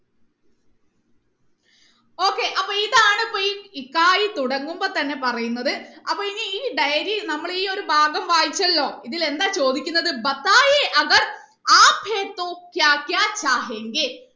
okay അപ്പൊ ഇതാണ് ഇപ്പൊ ഈ തുടങ്ങുമ്പോ തന്നെ പറയുന്നത് അപ്പൊ ഇനി ഈ diary നമ്മൾ ഈ ഒരു ഭാഗം വായിച്ചാലോ ഇതിൽ എന്താണ് ചോദിക്കുന്നത്